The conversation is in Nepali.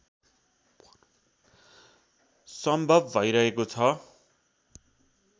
सम्भव भइरहेको छ